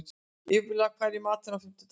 Ylfa, hvað er í matinn á fimmtudaginn?